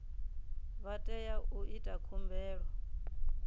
vha tea u ita khumbelo